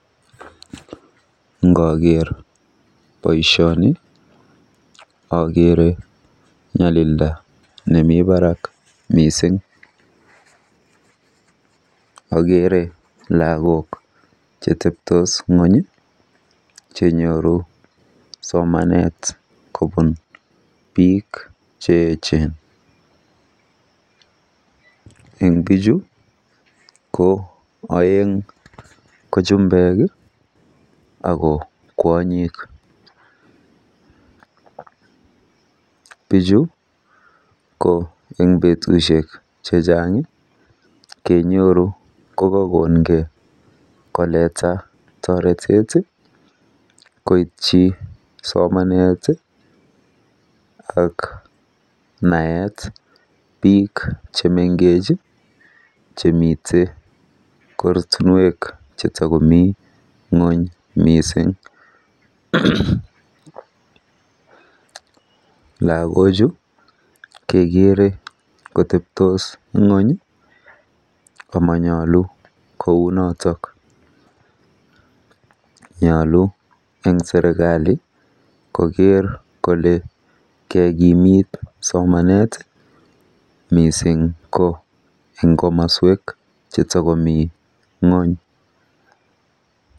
Ngoker baishoni akeree nyalilda nemii barak missing akere lakok chemii ngony chenyoree somanet kobun bik che echen eng bichuu aeng ko chumbuek kikokongei koiitich somanet koratinwek che takomii ngony missing